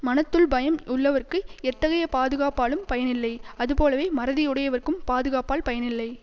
மனத்துள் பயம் உள்ளவர்க்கு எத்தகைய பாதுகாப்பாலும் பயன் இல்லை அதுபோலவே மறதி உடையவர்க்கும் பாதுகாப்பால் பயன் இல்லை